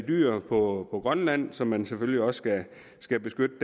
dyr på grønland som man selvfølgelig også skal beskytte